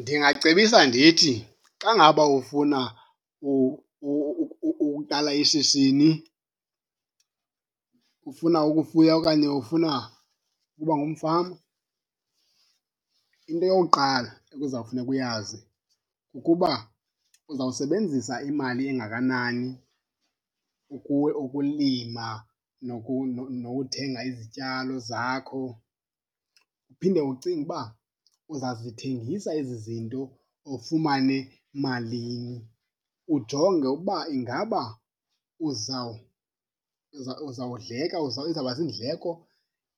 Ndingacebisa ndithi xa ngaba ufuna ukuqala ishishini, ufuna ukufuya okanye ufuna ukuba ngumfama, into yokuqala ekuzawufuneka uyazi kukuba uzawusebenzisa imali engakanani ukulima nokuthenga izityalo zakho. Uphinde ucinge uba uzazithengisa ezi zinto ufumane malini, ujonge uba ingaba uzawudleka izawuba ziindleko